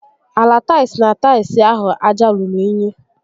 Ala taịls na taịls ahụ aja ruru únyí